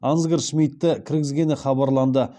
ансгар шмидті кіргізгені хабарланды